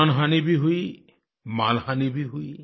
जानहानि भी हुई मालहानि भी हुई